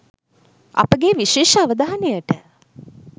අපගේ විශේෂ අවධානයට